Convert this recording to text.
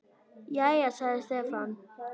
Jæja, sagði Stefán.